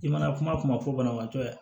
I mana kuma kuma fɔ banabagatɔ ye